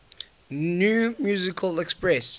new musical express